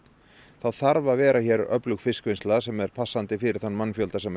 þá þarf að vera hér öflug fiskvinnsla sem er passandi fyrir þann mannfjölda sem